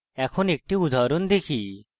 এখন একটি উদাহরণ দেখি